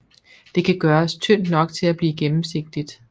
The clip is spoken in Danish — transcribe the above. Det kan gøres tyndt nok til at blive gennemsigtigt